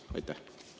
Aitäh!